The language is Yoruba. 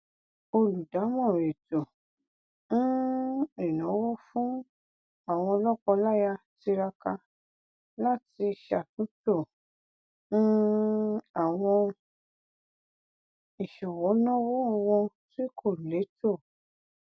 olùdámọràn ètò um ìnáwó fún àwọn lọkọláya tiraka láti ṣàtúntò um àwọn ìṣọwọ náwó wọn tí kò létò